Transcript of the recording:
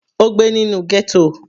Ó gbé nínú ghetto.